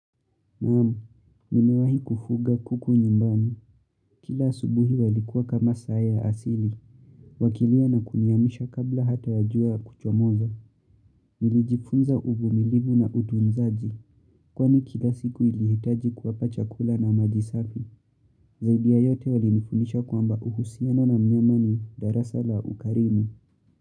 Naam, nimewahi kufuga kuku nyumbani. Kila asubuhi walikuwa kama saa ya asili. Wakilia na kuniamsha kabla hata ya jua kuchomoza. Nilijifunza uvumilivu na utunzaji. Kwani kila siku ilihitaji kuwapa chakula na maji safi. Zaidi ya yote walinifundisha kwamba uhusiano na mnyama ni darasa la ukarimu.